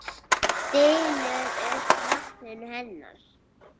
Stynur upp nafninu hennar.